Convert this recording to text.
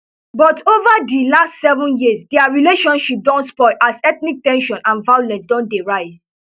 but ova di last seven years dia relationship don spoil as ethnic ten sion and violence don dey rise